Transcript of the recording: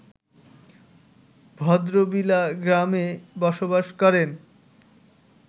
ভদ্রবিলা গ্রামে বসবাস করেন